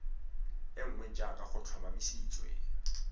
e nngwe jaaka go tlhomamisitswe